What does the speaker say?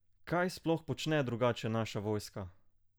Kaj sploh počne drugače naša vojska?